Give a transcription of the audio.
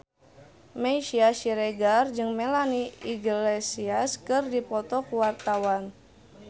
Meisya Siregar jeung Melanie Iglesias keur dipoto ku wartawan